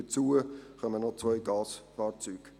Hinzu kommen noch zwei Gasfahrzeuge.